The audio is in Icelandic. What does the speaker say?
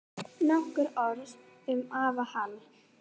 Nokkur orð um afa Hall.